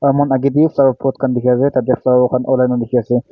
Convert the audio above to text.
saman age teh flower pot khan dikhi ase tah teh flower khan olai na dikhi ase.